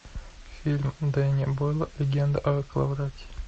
фильм дэнни бойла легенда о коловрате